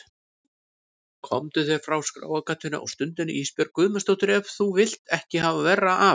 Komdu þér frá skráargatinu á stundinni Ísbjörg Guðmundsdóttir ef þú vilt ekki hafa verra af.